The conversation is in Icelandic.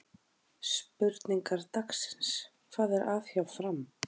Spurningar dagsins: Hvað er að hjá Fram?